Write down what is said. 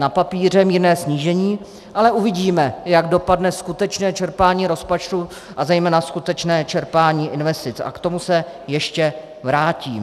Na papíře mírné snížení, ale uvidíme, jak dopadne skutečně čerpání rozpočtu a zejména skutečné čerpání investic, a k tomu se ještě vrátím.